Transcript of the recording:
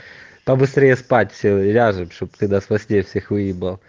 побыстрее спать все ляжем чтобы ты нас во сне всех выебал